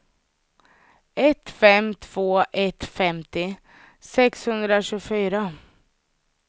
ett fem två ett femtio sexhundratjugofyra